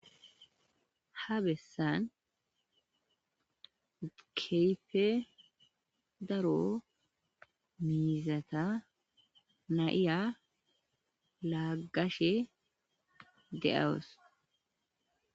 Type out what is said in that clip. ha bessan keehife daro miizata nayiya laagashe de'awus